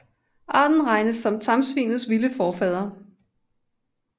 Arten regnes som tamsvinets vilde forfader